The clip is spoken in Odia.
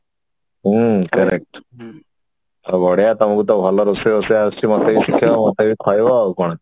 ହୁଁ correct ଆଉ ବଢିଆ ତମକୁ ତ ରୋଷେଇ ବୋଷେଇ ଆସୁଛି ମତେ ବି ଶିଖେଇବ ମତେ ବି କହିବ